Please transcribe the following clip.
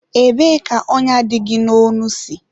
ebee ka ọnya dị gị n'ọnụ si?